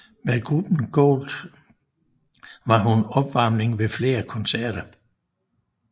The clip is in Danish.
Med gruppen Gold var hun opvarmning ved flere koncerter